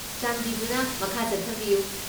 ꯆꯥꯟꯕꯤꯗꯨꯅ ꯃꯈꯥ ꯆꯠꯊꯕꯤꯌꯨ ꯫